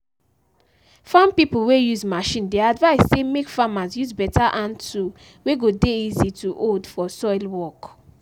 farm pipo wey use machine dey advise say mek farmers use better hand tool wey go dey easy to hold for soil work.